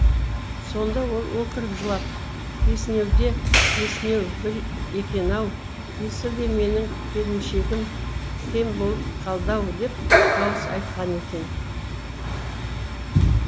сонда ол өкіріп жылап есінеуде есінеу бір екен ау есіл де менің келіншегім кем болып қалды ау деп дауыс айтқан екен